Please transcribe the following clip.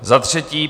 Za třetí.